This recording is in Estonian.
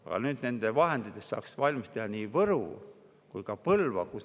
Aga nendest vahenditest saaks valmis teha nii Võru kui ka Põlva.